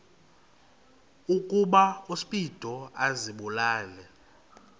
ukuba uspido azibulale